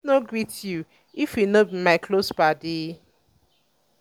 i fit um no greet you um if you no be my close paddy.